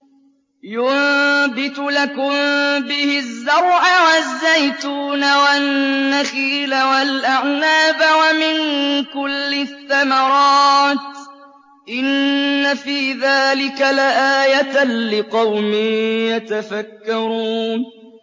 يُنبِتُ لَكُم بِهِ الزَّرْعَ وَالزَّيْتُونَ وَالنَّخِيلَ وَالْأَعْنَابَ وَمِن كُلِّ الثَّمَرَاتِ ۗ إِنَّ فِي ذَٰلِكَ لَآيَةً لِّقَوْمٍ يَتَفَكَّرُونَ